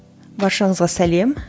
баршаңызға сәлем